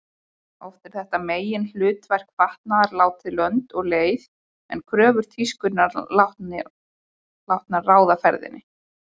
Oft er þetta meginhlutverk fatnaðar látið lönd og leið en kröfur tískunnar látnar ráða ferðinni.